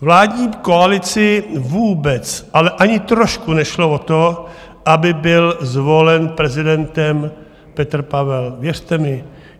Vládní koalici vůbec, ale ani trošku nešlo o to, aby byl zvolen prezidentem Petr Pavel, věřte mi.